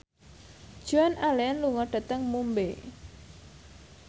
Joan Allen lunga dhateng Mumbai